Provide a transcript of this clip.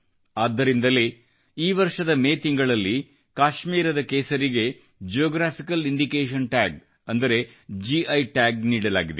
ಆದ್ದರಿಂದಲೇ ಈ ವರ್ಷದ ಮೇ ತಿಂಗಳಲ್ಲಿ ಕಾಶ್ಮೀರದ ಕೇಸರಿಗೆ ಜಿಯೋಗ್ರಾಫಿಕಲ್ ಇಂಡಿಕೇಶನ್ ಟಾಗ್ ಅಂದರೆ ಗಿ ಟಾಗ್ ನೀಡಲಾಗಿದೆ